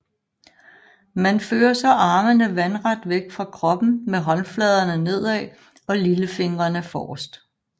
Man fører så armene vandret væk fra kroppen med håndfladerne nedad og lillefingrene forrest